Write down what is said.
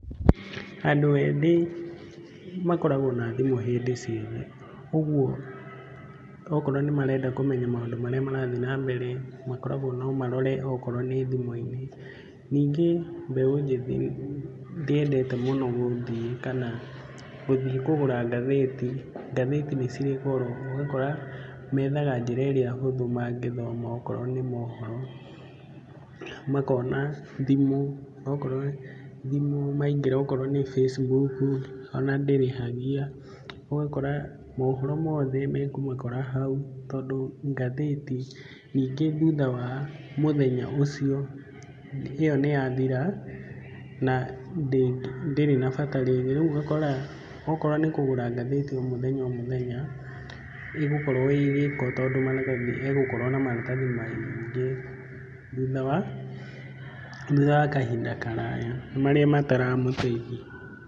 Andũ ethĩ makoragwo na thimũ hĩndĩ ciothe, ũguo okorwo nĩmarenda kũmenya maũndũ marĩa marathiĩ na mbere makoragwo no marore okorwo nĩ thĩmũ-inĩ. Ningĩ mbeũ njĩthĩ ndĩendete mũno gũthiĩ kana gũthiĩ kũgũra ngathĩti. Ngathĩti nĩcirĩ goro, ũgakora methaga njĩra ĩrĩa hũthũ mangĩthoma okorwo nĩ mohoro, makona thimũ, onokorwo thimũ maingĩra onokorwo nĩ Facebook ona ndĩrĩhagia. Ũgakora mohoro mothe mekũmakora hau tondũ ngathĩti, ningĩ thutha wa mũthenya ũcio ĩyo nĩyathira na ndĩrĩ na bata rĩngĩ, rĩu ũgakora okorwo nĩ kũgũra ngathĩti o mũthenya o mũthenya ĩgũkorwo ĩ gĩko tondũ maratathi egukorwo na maratathi maingĩ thutha wa thutha wa kahinda karaya, marĩa mataramũteithia.